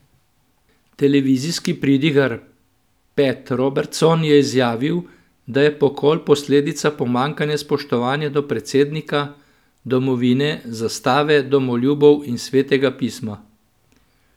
Televizijski pridigar Pat Robertson je izjavil, da je pokol posledica pomanjkanja spoštovanja do predsednika, domovine, zastave, domoljubov in svetega pisma.